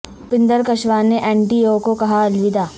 اوپیندر کشواہا نے N D A کو کہا الوداع